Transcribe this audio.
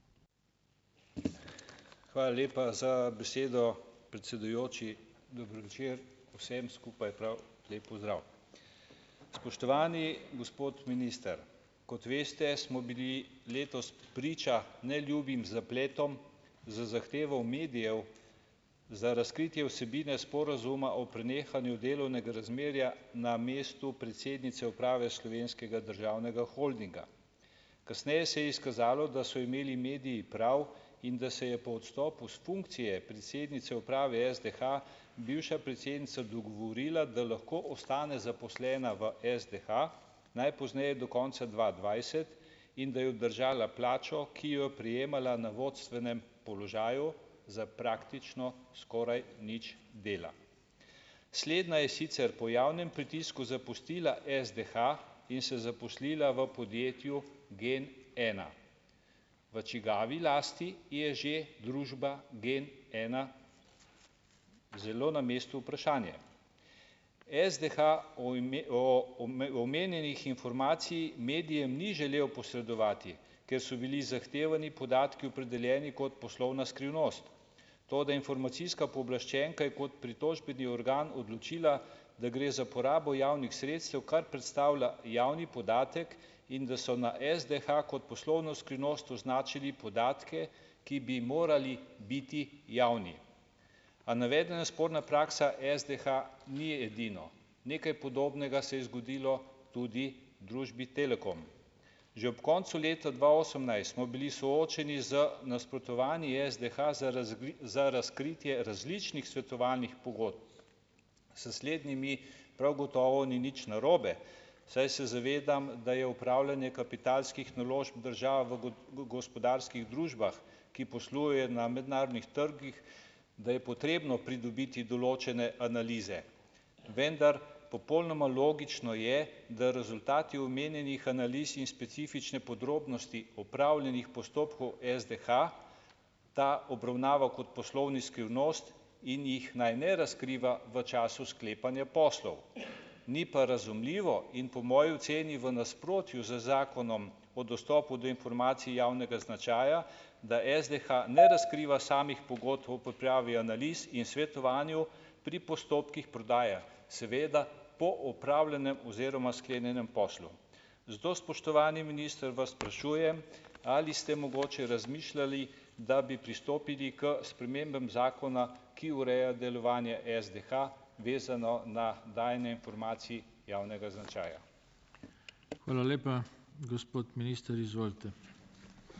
Hvala lepa za besedo, predsedujoči. Dober večer, prav lep pozdrav vsem skupaj! Spoštovani gospod minister! Kot veste, smo bili letos priča neljubim zapletom z zahtevo medijev za razkritje vsebine sporazuma o prenehanju delovnega razmerja na mestu predsednice uprave Slovenskega državnega holdinga. Kasneje se je izkazalo, da so imeli mediji prav, in da se je po odstopu s funkcije predsednice uprave SDH bivša predsednica dogovorila, da lahko ostane zaposlena v SDH, najpozneje do konca dva dvajset in da je obdržala plačo ki jo prejemala na vodstvenem položaju za praktično skoraj nič dela. Slednja je sicer po javnem pritisku zapustila SDH in se zaposlila v podjetju GENena. V čigavi lasti je že družba GENena? Zelo na mestu vprašanje. SDH o o omenjenih informacij medijem ni želel posredovati, ker so bili zahtevani podatki opredeljeni kot poslovna skrivnost, toda informacijska pooblaščenka je kot pritožbeni organ odločila, da gre za porabo javnih sredstev, kar predstavlja javni podatek, in da so na SDH kot poslovno skrivnost označili podatke, ki bi morali biti javni. A navedena sporna praksa SDH ni edino. Nekaj podobnega se je zgodilo tudi družbi Telekom. Že ob koncu leta dva osemnajst smo bili soočeni z nasprotovanji SDH za za razkritje različnih svetovalnih pogodb, s slednjimi prav gotovo ni nič narobe, saj se zavedam, da je opravljanje kapitalskih naložb države v v gospodarskih družbah, ki posluje na mednarodnih trgih, da je potrebno pridobiti določene analize, vendar popolnoma logično je, da rezultati omenjenih analiz in specifične podrobnosti opravljenih postopkov SDH ta obravnava kot poslovno skrivnost in jih naj ne razkriva v času sklepanja poslov. Ni pa razumljivo in po moji oceni v nasprotju z Zakonom o dostopu do informacij javnega značaja, da SDH ne razkriva samih pogodb o pripravi analiz in svetovanju pri postopkih prodaje, seveda po opravljenem oziroma sklenjenem poslu. Zato spoštovani minister vas sprašujem: Ali ste mogoče razmišljali, da bi pristopili k spremembam zakona, ki ureja delovanje SDH, vezano na dajanje informacij javnega značaja?